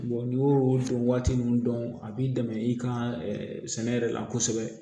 n'i y'o don waati min dɔn a b'i dɛmɛ i ka sɛnɛ yɛrɛ la kosɛbɛ